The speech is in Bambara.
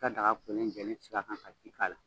Ka daga kolen jɛlen sigi a kan ka ji k'a la.